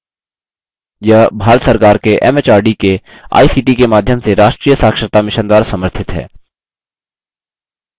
यह भारत सरकार के एमएचआरडी के आईसीटी के माध्यम से राष्ट्रीय साक्षरता mission द्वारा समर्थित है